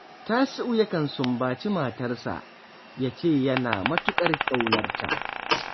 Tasi’u yakan sumbaci matarsa, ya ce yana matuƙar ƙaunar ta